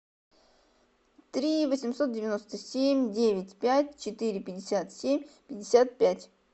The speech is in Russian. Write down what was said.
три восемьсот девяносто семь девять пять четыре пятьдесят семь пятьдесят пять